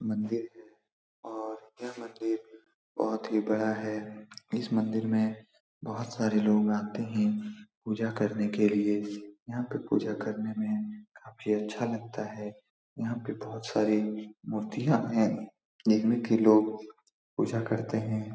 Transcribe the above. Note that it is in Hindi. मंदिर है और यह मंदिर बहुत ही बड़ा है इस मंदिर में बहुत सारे लोग आते हैं पूजा करने के लिए यहाँ पर पूजा करने में काफी अच्छा लगता है यहाँ पे बहुत सारे मूर्तियाँ हैं इन्ही की लोग पूजा करते हैं।